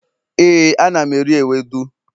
éè, ana m eri ewedu